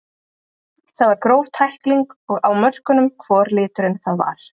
Það var gróf tækling og á mörkunum hvor liturinn það var.